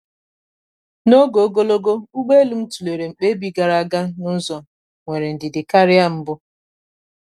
n’oge ogologo ụgbọ elu m tụlere mkpebi gara aga n’ụzọ nwere ndidi karịa mbụ.